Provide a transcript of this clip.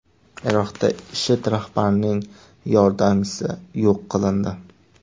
Iroqda IShID rahbarining yordamchisi yo‘q qilindi.